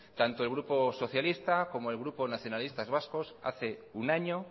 tanto el grupo socialista como el grupo nacionalistas vascos hace un año